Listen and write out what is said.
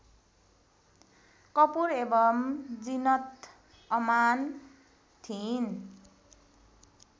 कपूर एवं जीनत अमान थिइन्